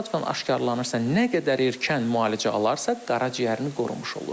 Və təsadüfən aşkarlanırsa, nə qədər erkən müalicə alarsa, qaraciyərini qorumuş olur.